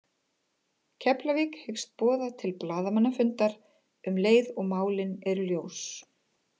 Keflavík hyggst boða til blaðamannafundar um leið og málin eru ljós.